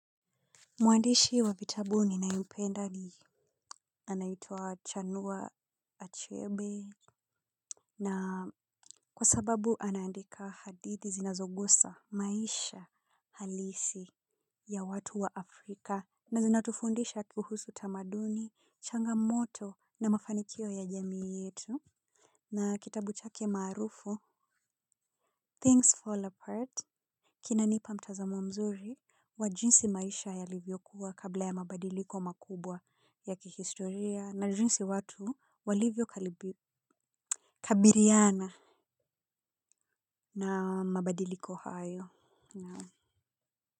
Mwandishi wa vitabu ninayopenda ni Anaitwa Chanua Achebe na kwa sababu anaandika hadithi zinazogusa maisha halisi ya watu wa Afrika. Na zinatufundisha kuhusu tamaduni, changamoto na mafanikio ya jamii yetu. Na kitabu chake maarufu Things Fall Apart Kinanipa mtazamo mzuri wa jinsi maisha yalivyokuwa kabla ya mabadiliko makubwa ya kihistoria na jinsi watu walivyo kabiriana na mabadiliko hayo.